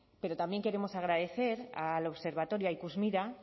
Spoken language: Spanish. pero también queremos agradecer al observatorio a ikusmira